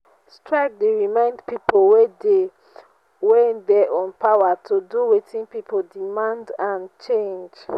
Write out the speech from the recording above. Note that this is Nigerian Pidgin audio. strike dey remind people wey dey wey dey on power to do wetin people demand and change.